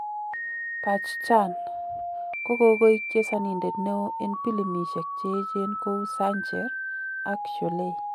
Bachchan kogogoik chesonindet neo en pilimisiek cheechen kou Zanjeer ak Sholay.